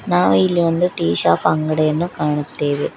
ನಾವು ಇಲ್ಲಿ ಒಂದು ಟೀ ಶಾಪ್ ಅಂಗಡಿಯನ್ನು ಕಾಣುತ್ತೇವೆ.